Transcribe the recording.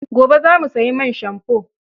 Gobe za mu sayi man shamfo.